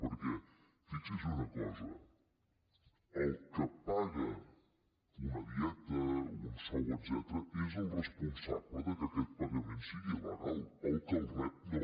perquè fixi’s en una cosa el que paga una dieta un sou etcètera és el responsable que aquest pagament sigui legal el que el rep no